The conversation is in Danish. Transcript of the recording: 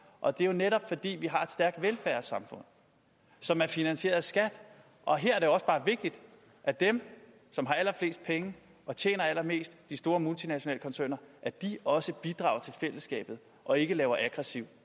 og det er jo netop fordi vi har et stærkt velfærdssamfund som er finansieret af skat og her er det også bare vigtigt at dem som har allerflest penge og tjener allermest de store multinationale koncerner også bidrager til fællesskabet og ikke laver aggressiv